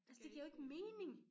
Altsåd et giver jo ikke mening